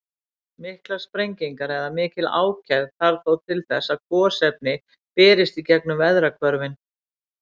Miklar sprengingar eða mikla ákefð þarf þó til þess að gosefni berist í gengum veðrahvörfin.